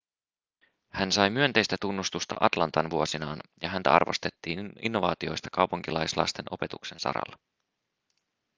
hän sai myönteistä tunnustusta atlantan vuosinaan ja häntä arvostettiin innovaatioista kaupunkilaislasten opetuksen saralla